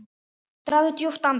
Dragðu djúpt andann!